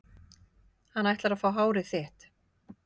Hann ætlar að fá hárið þitt.